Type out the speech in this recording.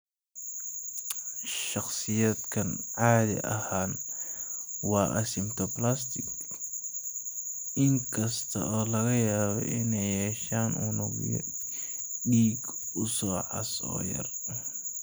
Shakhsiyaadkani caadi ahaan waa asymptomatic, in kasta oo laga yaabo inay yeeshaan unugyo dhiig oo cas oo yaryar.